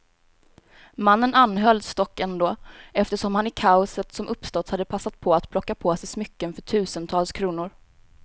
Mannen anhölls dock ändå, eftersom han i kaoset som uppstått hade passat på att plocka på sig smycken för tusentals kronor.